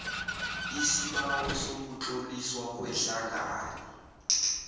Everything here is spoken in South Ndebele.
isibawo sokutloliswa kwehlangano